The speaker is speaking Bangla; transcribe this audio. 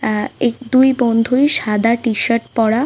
আহ এ দুই বন্ধুই সাদা টি শার্ট পড়া .